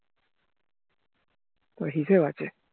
হিসেবে আছে